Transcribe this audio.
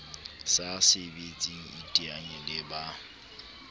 sa sebetseng iteanye le ba